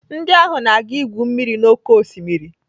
Ndị ahụ na-aga igwu mmiri n'oké osimiri.